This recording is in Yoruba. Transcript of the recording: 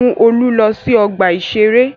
Mú Olú lọ sí ọgbà-ìṣeré!